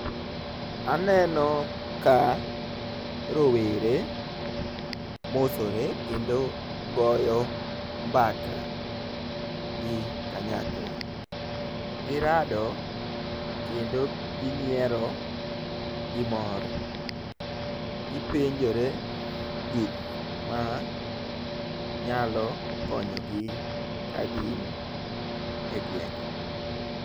Aneno ka rowere mosore kendo goyo mbaka gi kanyakla . Girado kendo ginyiero gi mor gipenjore gik manyalo konyogi ka gin e gwenge .